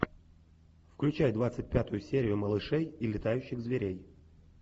включай двадцать пятую серию малышей и летающих зверей